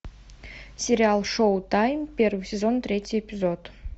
сериал шоутайм первый сезон третий эпизод